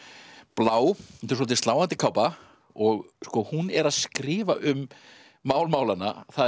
blá þetta er svolítið sláandi kápa og hún er að skrifa um mál málanna það